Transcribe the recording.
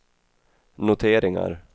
noteringar